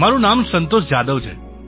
મારું નામ સંતોષ જાધવ છે